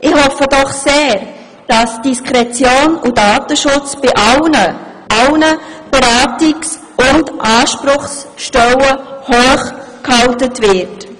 Ich hoffe doch sehr, dass Diskretion und Datenschutz bei allen Beratungs- und Ansprechstellen hochgehalten wird.